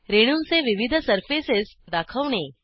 रेणूंचे विविध सर्फेसस दाखवणे